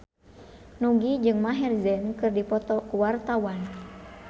Nugie jeung Maher Zein keur dipoto ku wartawan